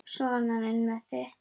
Sona inn með þig!